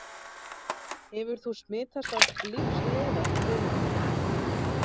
Hefur þú smitast af lífsleiða, Friðrik minn?